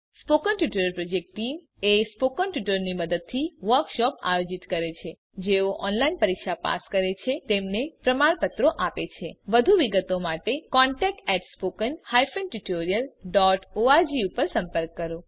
spoken tutorial project team spoken ટ્યુટોરીયલોનાં મદદથી વર્કશોપોનું આયોજન કરે છે જેઓ ઓનલાઈન પરીક્ષા પાસ કરે છે તેમને પ્રમાણપત્રો આપે છે વધુ વિગત માટે કૃપા કરી contactspoken tutorialorg પર સંપર્ક કરો